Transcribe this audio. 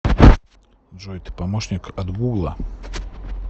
джой ты помощник от гугла